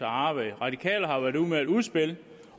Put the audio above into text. at arbejde radikale har været ude med et udspil